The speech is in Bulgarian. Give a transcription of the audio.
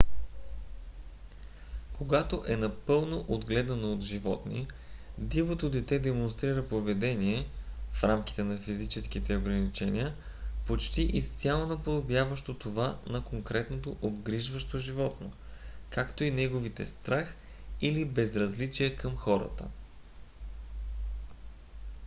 когато е напълно отгледано от животни дивото дете демонстрира поведение в рамките на физическите ограничения почти изцяло наподобяващо това на конкретното обгрижващо животно както и неговите страх или безразличие към хората